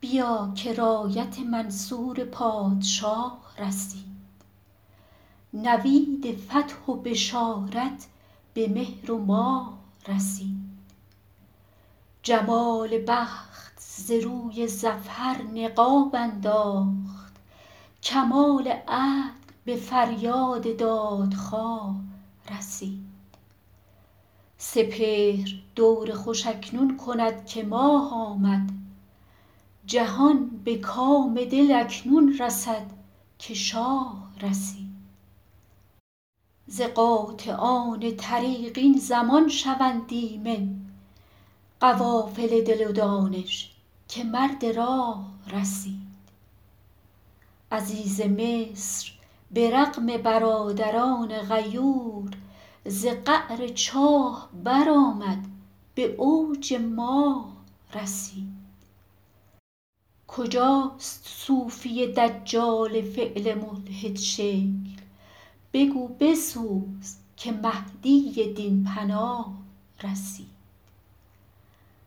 بیا که رایت منصور پادشاه رسید نوید فتح و بشارت به مهر و ماه رسید جمال بخت ز روی ظفر نقاب انداخت کمال عدل به فریاد دادخواه رسید سپهر دور خوش اکنون کند که ماه آمد جهان به کام دل اکنون رسد که شاه رسید ز قاطعان طریق این زمان شوند ایمن قوافل دل و دانش که مرد راه رسید عزیز مصر به رغم برادران غیور ز قعر چاه برآمد به اوج ماه رسید کجاست صوفی دجال فعل ملحدشکل بگو بسوز که مهدی دین پناه رسید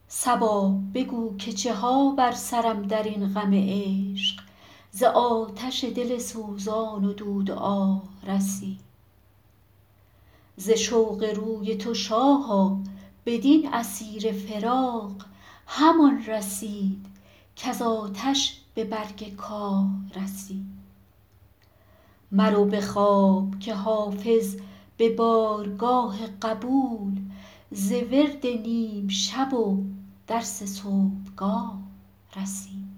صبا بگو که چه ها بر سرم در این غم عشق ز آتش دل سوزان و دود آه رسید ز شوق روی تو شاها بدین اسیر فراق همان رسید کز آتش به برگ کاه رسید مرو به خواب که حافظ به بارگاه قبول ز ورد نیم شب و درس صبحگاه رسید